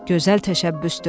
Gözəl təşəbbüsdür.